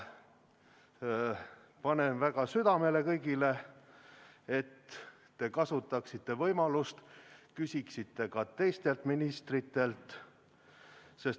Panen kõigile väga südamele, et te kasutaksite võimalust ja küsiksite ka teistelt ministritelt.